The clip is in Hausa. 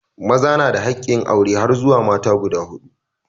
Maza na da hakkin aure har zuwa mata guda huɗu.